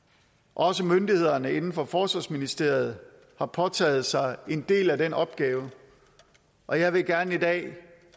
også myndighederne inden for forsvarsministeriet har påtaget sig en del af den opgave og jeg vil gerne i dag